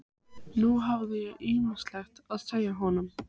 Þótti heldur ágerast fálæti Björns eftir því sem leið sumarið.